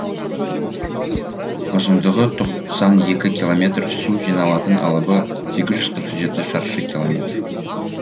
ұзындығы тоқсан екі километр су жиналатын алабы сегіз жүз қырық жеті шаршы километр